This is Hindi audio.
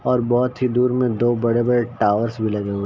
और बहोत ही दूर में दो बड़े-बड़े टावर्स भी लगें हुए --